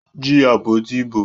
Jí àpótí ìbò!